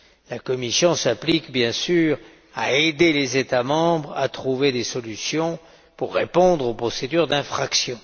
La Commission s'applique, bien sûr, à aider les États membres à trouver des solutions pour répondre aux procédures d'infraction.